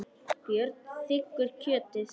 Björn þiggur kjötið.